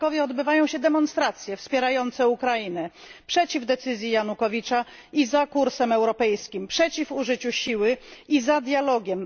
W Krakowie odbywają się demonstracje wspierające Ukrainę przeciw decyzji Janukowycza i za kursem europejskim, przeciw użyciu siły i za dialogiem.